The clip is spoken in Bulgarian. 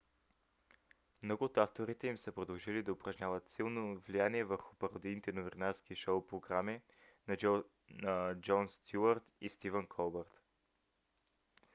много от авторите им са продължили да упражняват силно влияние върху пародийните новинарски шоу програми на джон стюарт и стивън колбърт